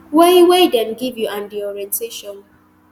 wey wey dem give you and di orientation